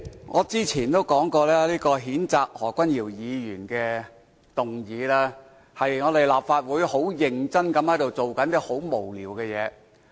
我之前曾說，此項譴責何君堯議員的議案，是立法會很認真做但卻很無聊的事情。